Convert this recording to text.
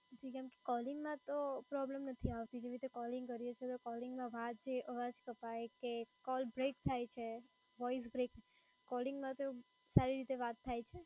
જી calling માં તો problem નથી આવતો. જે રીતે calling કરીએ છીએ તો calling માં વાત જે અવાજ કપાય કે call break થાય છે, voice break calling માં તો સારી રીતે વાત થાય છે.